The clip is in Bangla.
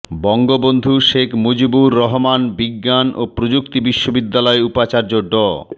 বঙ্গবন্ধু শেখ মুজিবুর রহমান বিজ্ঞান ও প্রযুক্তি বিশ্ববিদ্যালয়ে উপাচার্য ড